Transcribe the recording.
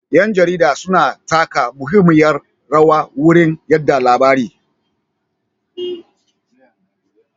Ƴan jarida suna taka muhimmiyar rawa wurin yada labari.